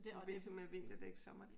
Ligesom med vinterdæk sommerdæk?